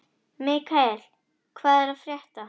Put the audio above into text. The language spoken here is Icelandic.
Mikkael, hvað er að frétta?